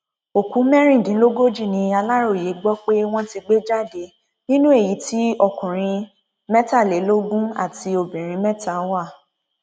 òkú mẹrìndínlógójì ni aláròye gbọ pé wọn ti gbé jáde nínú èyí tí ọkùnrin mẹtàlélógún àti obìnrin mẹta wà